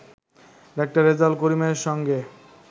ডা. রেজাউল করিমের সঙ্গে